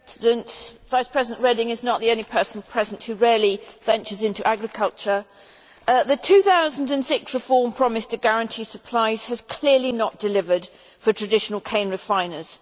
Mr President, Vice President Reding is not the only person present who rarely ventures into agriculture. The 2006 reform promised to guarantee supplies, and has clearly not delivered for traditional cane refiners.